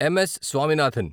MS. Swaminathan